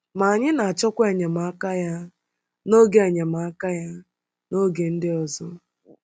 Ma anyị na-achọkwa enyemaka ya n’oge enyemaka ya n’oge ndị ọzọ.